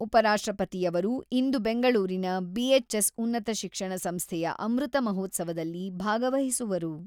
ಉಪರಾಷ್ಟ್ರಪತಿಯವರು ಇಂದು ಬೆಂಗಳೂರಿನ ಬಿ.ಎಚ್.ಎಸ್ ಉನ್ನತ ಶಿಕ್ಷಣ ಸಂಸ್ಥೆಯ ಅಮೃತ ಮಹೋತ್ಸವದಲ್ಲಿ ಭಾಗವಹಿಸುವರು.